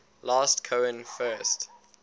last cohen first